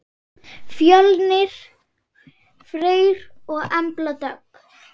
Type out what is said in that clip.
Fjölnir Freyr og Embla Dögg.